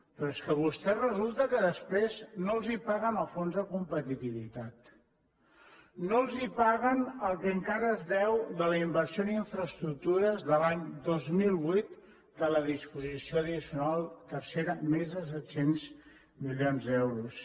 però és que a vostès resulta que després no els paguen el fons de competitivitat no els paguen el que encara es deu de la inversió en infraestructures de l’any dos mil vuit de la disposició addicional tercera més de set cents milions d’euros